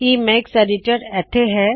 Emacs editor ਇੱਥੇ ਹੈ